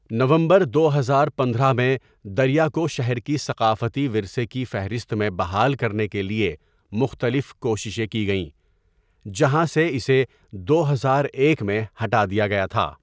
نومبر دو ہزار پندرہ میں، دریا کو شہر کی ثقافتی ورثے کی فہرست میں بحال کرنے کے لیے مختلف کوششیں کی گئیں جہاں سے اسے دو ہزار ایک میں ہٹا دیا گیا تھا۔